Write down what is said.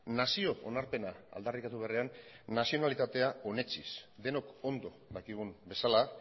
nazio onarpena aldarrikatu beharrean nazionalitatea onetsiz denok ondo dakigun bezala